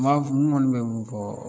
n kɔni bɛ mun fɔ